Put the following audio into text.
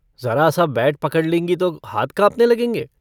ज़रा-सा bat पकड़ लेंगी तो हाथ काँपने लगेंगे।